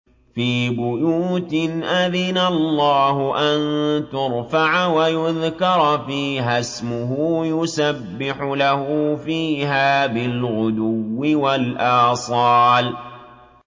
فِي بُيُوتٍ أَذِنَ اللَّهُ أَن تُرْفَعَ وَيُذْكَرَ فِيهَا اسْمُهُ يُسَبِّحُ لَهُ فِيهَا بِالْغُدُوِّ وَالْآصَالِ